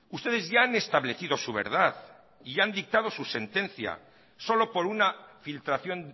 ustedes ya han establecido su verdad y ya han dictado su sentencia solo por una filtración